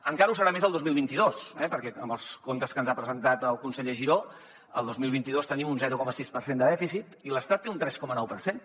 encara ho serà més el dos mil vint dos perquè amb els comptes que ens ha presentat el conseller giró el dos mil vint dos tenim un zero coma sis per cent de dèficit i l’estat en té un tres coma nou per cent